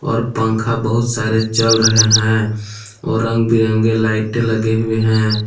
और पंखा बहुत सारे चल रहे हैं और रंग बिरंगे लाइटें लगे हुए हैं।